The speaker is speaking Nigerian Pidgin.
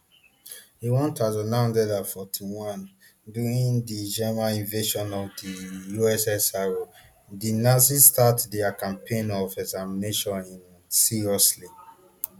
in one thousand, nine hundred and forty-one during di german invasion of di ussr di nazis start dia campaign of extermination in um seriously